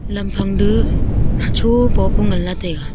lam phang du hacho popu nganla taiga.